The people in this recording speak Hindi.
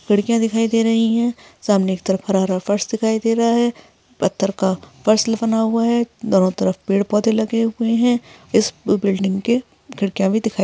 खिड़किया दिखाई दे रही है। सामने की तरफ हरा हरा फर्श दिखाई दे रहा है। पत्थर का फर्श हुआ है। दोनों तरफ पेड़ पौधे लगे हुए है। इस बिल्डिंग के खिड़किया भी दिखा--